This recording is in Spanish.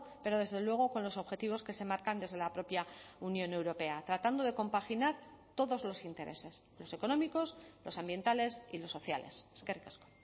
pero desde luego con los objetivos que se marcan desde la propia unión europea tratando de compaginar todos los intereses los económicos los ambientales y los sociales eskerrik asko